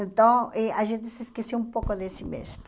Então, eh a gente se esqueceu um pouco de si mesma.